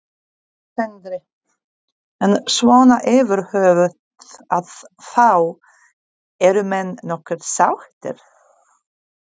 Sindri: En svona yfirhöfuð að þá eru menn nokkuð sáttir?